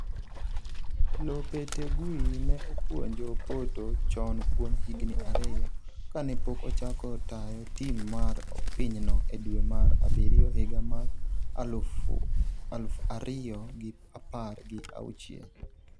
Lopetegui ne opuonjo Porto chon kuom higni ariyo, kane pok ochako tayo tim mar pinyno e dwe mar abiriyo higa mar aluf ariyo gi apar gi auchiel